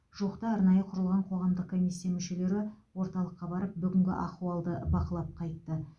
жуықта арнайы құрылған қоғамдық комиссия мүшелері орталыққа барып бүгінгі ахуалды бақылап қайтты